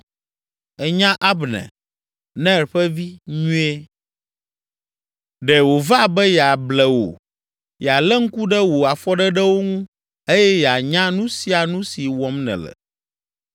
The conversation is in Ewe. Ènya Abner, Ner ƒe vi, nyuie; ɖe wòva be yeable wò, yealé ŋku ɖe wò afɔɖeɖewo ŋu eye yeanya nu sia nu si wɔm nèle.”